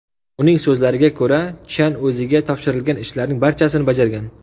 Uning so‘zlariga ko‘ra, Chjan o‘ziga topshirilgan ishlarning barchasini bajargan.